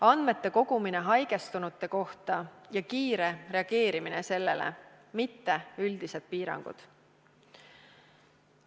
Andmete kogumine haigestunute kohta ja kiire reageerimine, mitte üldised piirangud.